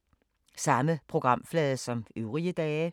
Samme programflade som øvrige dage